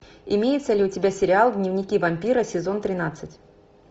имеется ли у тебя сериал дневники вампира сезон тринадцать